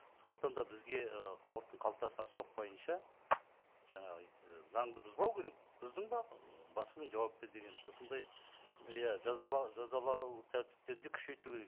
сондықтан да бізге ы халықтың қалтасына соқпайынша жаңағы і заңды бұзбау керек бұздың ба м басыңмен жауап бер деген осындай иә жазалану тәртіптерін де күшейту керек